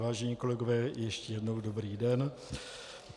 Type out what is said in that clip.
Vážení kolegové, ještě jednou dobrý den.